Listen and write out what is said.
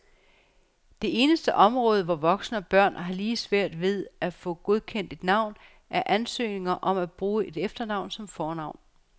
Det eneste område, hvor voksne og børn har lige svært ved at få godkendt et navn, er ansøgninger om at bruge et efternavn som fornavn.